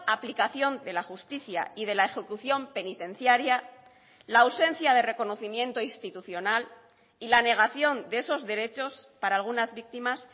aplicación de la justicia y de la ejecución penitenciaria la ausencia de reconocimiento institucional y la negación de esos derechos para algunas víctimas